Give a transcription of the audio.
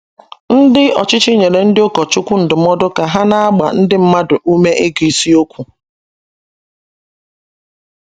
Ndi Ọchịchị nyere ndị ụkọchukwu ndụmọdụ ka ha na - agba ndị mmadụ ume ịgụ ịsiokwu. ”